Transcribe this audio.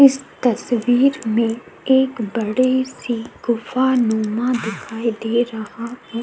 इस तस्वीर मे एक बड़ी सी गुफा नुमा दिखाई दे रहा है।